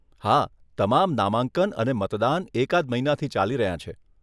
હા, તમામ નામાંકન અને મતદાન એકાદ મહિનાથી ચાલી રહ્યાં છે.